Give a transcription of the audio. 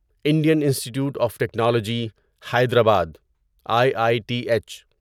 Indian Institute of Technology Hyderabad I I T H